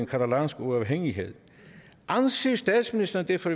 catalansk uafhængighed anser statsministeren det for